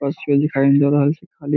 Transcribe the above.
पास दिखाई दे रहल छे खाली।